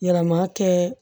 Yɛlɛma kɛ